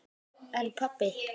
En pabbi.